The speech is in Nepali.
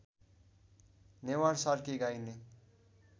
नेवार सार्की गाइने